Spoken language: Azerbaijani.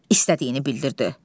İstədiyini bildirdi.